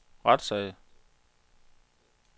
retssag